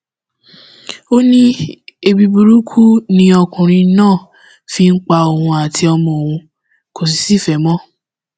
ó ní ẹbí burúkú ni ọkùnrin náà fi ń pa òun àti ọmọ òun kò sì sí ìfẹ mọ